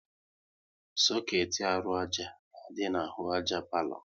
Soketi arụ àjà na-adị n'ahụ àjà palo